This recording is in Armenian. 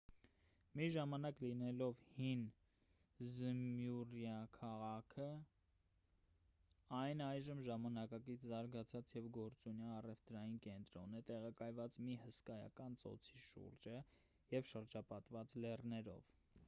մի ժամանակ լինելով հին զմյուռնիա քաղաքը այն այժմ ժամանակակից զարգացած և գործունյա առևտրային կենտրոն է տեղակայված մի հսկայական ծոցի շուրջը և շրջապատված լեռներով